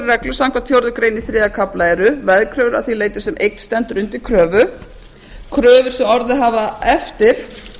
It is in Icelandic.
reglu samkvæmt fjórðu grein í þriðja kafla eru veðkröfur að því leyti sem eign stendur undir kröfu kröfur sem orðið hafa eftir